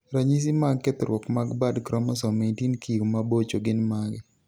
ranyisi mag kethruok mag bad kromosom 18q mabocho gin mage?